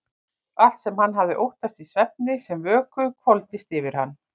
Allt sem hann hafði óttast í svefni sem vöku hvolfdist yfir hann.